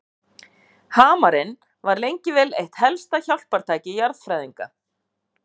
Hamarinn var lengi vel eitt helsta hjálpartæki jarðfræðinga.